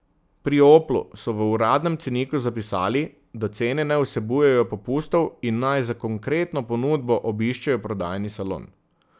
Pri Oplu so v uradnem ceniku zapisali, da cene ne vsebujejo popustov in naj za konkretno ponudbo obiščejo prodajni salon.